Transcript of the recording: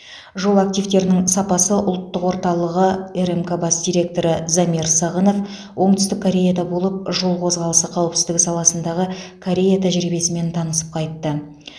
жол активтерінің сапасы ұлттық орталығы рмк бас директоры замир сағынов оңтүстік кореяда болып жол қозғалысы қауіпсіздігі саласындаы корея тәжірибесімен танысып қайтты